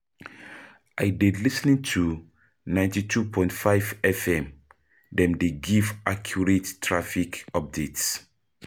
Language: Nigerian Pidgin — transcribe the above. i dey lis ten to 92.5 FM, dem dey give accurate traffic updates.